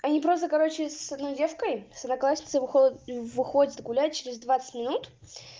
они просто короче с одной девкой с одноклассницей выход выходят гулять через двадцать минут